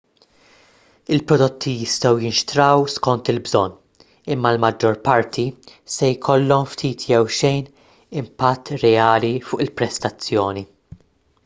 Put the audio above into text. il-prodotti jistgħu jinxtraw skont il-bżonn imma l-maġġor parti se jkollhom ftit jew xejn impatt reali fuq il-prestazzjoni